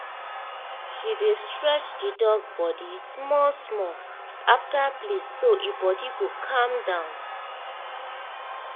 she dey stretch the dog body small-small after play so e body go calm down